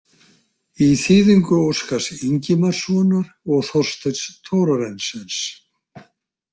Í þýðingu Óskars Ingimarssonar og Þorsteins Thorarensens.